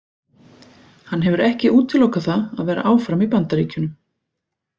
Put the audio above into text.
Hann hefur ekki útilokað það að vera áfram í Bandaríkjunum.